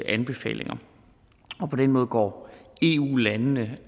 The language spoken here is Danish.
anbefalinger på den måde går eu landene